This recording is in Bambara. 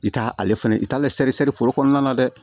I t'ale fɛnɛ i t'ale sɛri sɛri foro kɔnɔna na dɛ